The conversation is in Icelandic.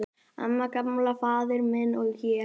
"""Amma, Gamli faðir minn, og ég."""